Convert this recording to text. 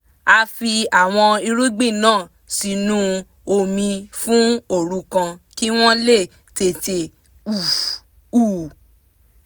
a fi àwọn irúgbìn náà sínú omi fún òru kan kí wọ́n lè tètè hù